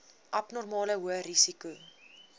abnormale hoë risiko